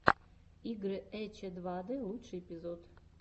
игры эчедвадэ лучший эпизод